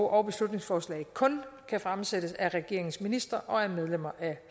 og beslutningsforslag kun kan fremsættes af regeringens ministre og medlemmer af